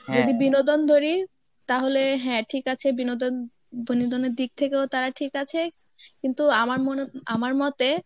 যদি বিনোদন ধরি, তাহলে হ্যাঁ ঠিক আছে বিনোদন বিনোদনের দিক থেকেও তারা ঠিক আছে কিন্তু আমার মনে আমার মতে